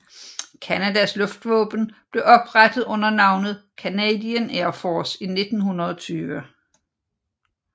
Canadas luftvåben blev oprettet under navnet Canadian Air Force i 1920